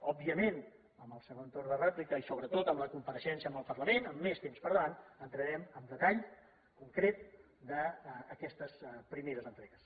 òbviament en el segon torn de rèplica i sobretot amb la compareixença al parlament amb més temps per davant entrarem en detall concret d’aquestes primeres entregues